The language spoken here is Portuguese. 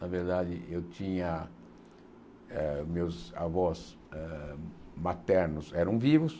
Na verdade, eu tinha eh meus avós maternos hã eram vivos.